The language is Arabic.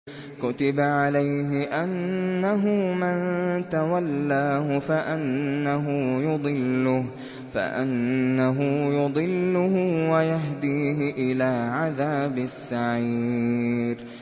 كُتِبَ عَلَيْهِ أَنَّهُ مَن تَوَلَّاهُ فَأَنَّهُ يُضِلُّهُ وَيَهْدِيهِ إِلَىٰ عَذَابِ السَّعِيرِ